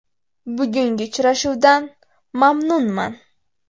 Bugungi uchrashuvdan mamnunman.